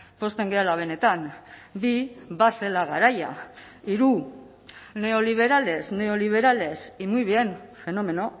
pozten garela benetan bi bazela garaia hiru neoliberales neoliberales y muy bien fenómeno